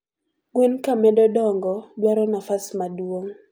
gwen kamedo dongo dwaro nafas maduong